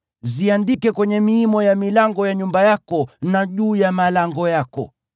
Ziandike kwenye miimo ya milango ya nyumba yako na juu ya malango yako.